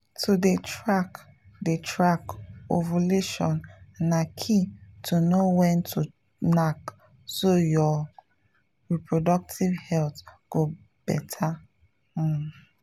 to dey track dey track ovulation na key to know when to knack so your reproductive health go better um.